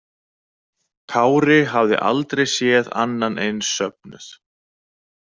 Kári hafði aldrei séð annan eins söfnuð.